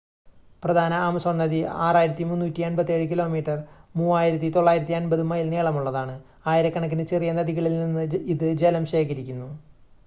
പ്രധാന ആമസോൺ നദി 6,387 kilometre 3,980 mile നീളമുള്ളതാണ്. ആയിരക്കണക്കിന് ചെറിയ നദികളിൽ നിന്ന് ഇത് ജലം ശേഖരിക്കുന്നു